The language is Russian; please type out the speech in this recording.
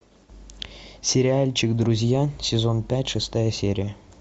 сериальчик друзья сезон пять шестая серия